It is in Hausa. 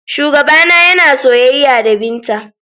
Shugabana yana soyayya da Binta.